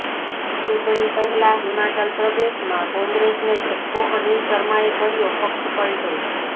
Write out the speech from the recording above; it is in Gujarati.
ચૂંટણી પહેલા હિમાચલ પ્રદેશમાં કોંગ્રેસને ઝટકો અનિલ શર્માએ કર્યો પક્ષપલટો